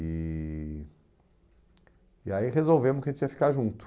E e aí resolvemos que a gente ia ficar junto.